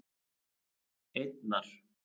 einnar